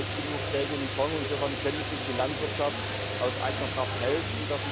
Da ist genug Geld im Fonds, insofern könnte sich die Landwirtschaft aus eigener Kraft helfen.